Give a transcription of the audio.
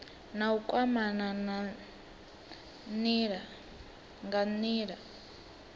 na u kwamana nga nila